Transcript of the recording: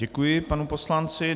Děkuji panu poslanci.